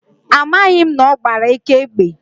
ọmaghị na ọgbara eke egbe